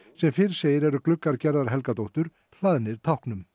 sem fyrr segir eru gluggar Gerðar Helgadóttur hlaðnir táknum